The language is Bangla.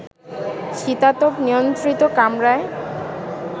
শীতাতপ নিয়ন্ত্রিত কামরায়